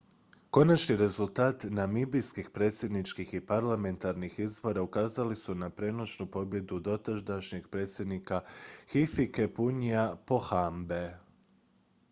konačni rezultati namibijskih predsjedničkih i parlamentarnih izbora ukazali su na premoćnu pobjedu dotadašnjeg predsjednika hifikepunyea pohambe